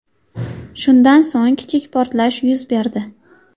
Shundan so‘ng kichik portlash yuz berdi.